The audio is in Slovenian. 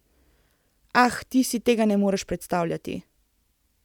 Ah, ti si tega ne moreš predstavljati.